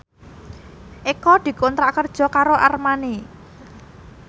Eko dikontrak kerja karo Armani